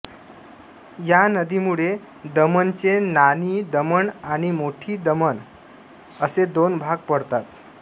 या नदीमुळे दमणचे नानी दमण आणि मोटी दमण असे दोन भाग पडतात